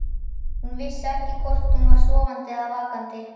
Hún vissi ekki hvort hún var sofandi eða vakandi.